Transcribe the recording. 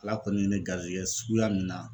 Ala kɔni ye ne garijɛgɛ suguya nin na